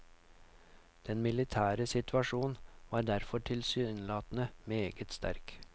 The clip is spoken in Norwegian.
Den militære situasjon var derfor tilsynelatende meget sterk.